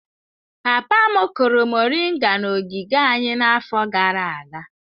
Papa m kụrụ moringa n'ogige anyị n'afọ gara aga.